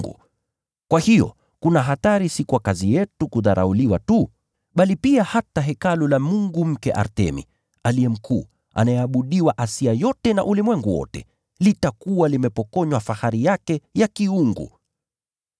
Kwa hiyo kuna hatari si kwa kazi yetu kudharauliwa tu, bali pia hata hekalu la mungu mke Artemi, aliye mkuu, anayeabudiwa Asia yote na ulimwengu wote, litakuwa limepokonywa fahari yake ya kiungu.”